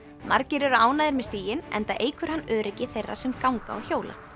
margir eru ánægðir með stíginn enda eykur hann öryggi þeirra sem ganga og hjóla